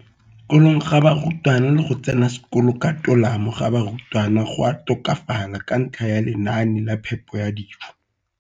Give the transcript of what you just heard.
Kolong ga barutwana le go tsena sekolo ka tolamo ga barutwana go a tokafala ka ntlha ya lenaane la phepo ya dijo.